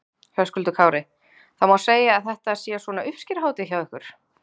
Höskuldur Kári: Það má segja að þetta sé svona uppskeruhátíð hjá ykkur?